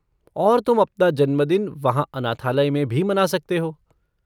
और तुम अपना जन्मदिन वहाँ अनाथालय में भी मना सकते हो।